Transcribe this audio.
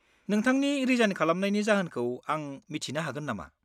नोंथांनि रिजाइन खालामनायनि जाहोनखौ आं मिथिनो हागोन नामा?